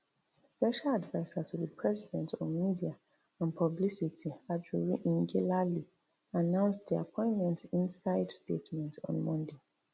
special adviser to di president on media and publicity ajuri ngelale announce di appointment inside statement on monday